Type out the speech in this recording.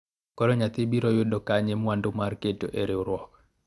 koro nyathi biro yudo kanye mwandu mar keto e riwruok